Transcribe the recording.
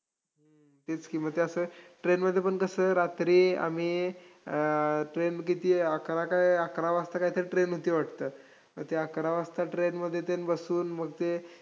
तेच की मग ते असं, train मध्ये पण कसं, रात्री आम्ही train किती अकरा का अकरा वाजता काईतरी train होती वाटतं. मग ते अकरा वाजता train मध्ये अन ते बसून मग ते